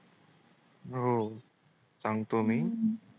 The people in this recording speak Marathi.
हो सांगतो